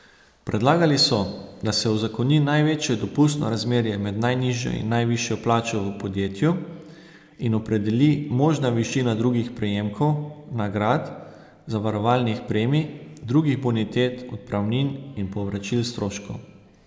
Predlagali so, da se uzakoni največje dopustno razmerje med najnižjo in najvišjo plačo v podjetju in opredeli možna višina drugih prejemkov, nagrad, zavarovalnih premij, drugih bonitet, odpravnin in povračil stroškov.